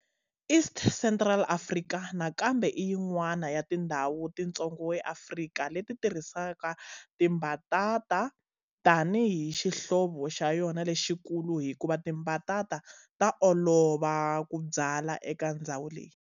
East Central Africa nakambe i yin'wana ya tindzhawu titsongo eAfrika leti tirhisaka timbatata tani hi xihlovo xa yona lexikulu hikuva timbatata ta olova ku byala eka ndzhawu leyi.